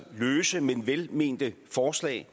løse men velmente forslag